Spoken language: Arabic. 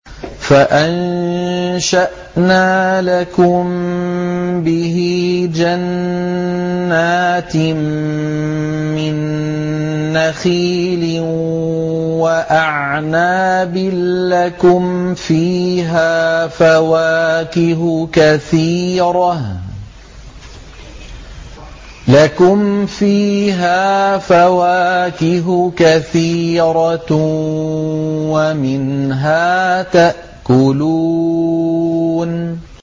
فَأَنشَأْنَا لَكُم بِهِ جَنَّاتٍ مِّن نَّخِيلٍ وَأَعْنَابٍ لَّكُمْ فِيهَا فَوَاكِهُ كَثِيرَةٌ وَمِنْهَا تَأْكُلُونَ